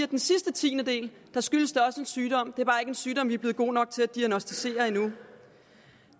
den sidste tiendedel skyldes det også en sygdom det er en sygdom vi er blevet gode nok til at diagnosticere endnu